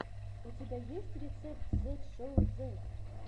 у тебя есть рецепт зет шоу зет